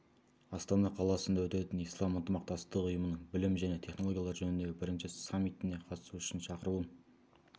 астана қаласында өтетін ислам ынтымақтастығы ұйымының білім және технологиялар жөніндегі бірінші саммитіне қатысу үшін шақыруын